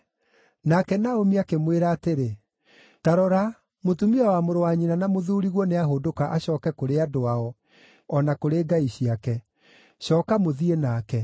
Nake Naomi akĩmwĩra atĩrĩ, “Ta rora, mũtumia wa mũrũ wa nyina na mũthuuriguo nĩahũndũka acooke kũrĩ andũ ao, o na kũrĩ ngai ciake. Cooka mũthiĩ nake.”